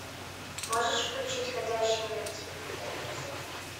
можешь включить ходячие мертвецы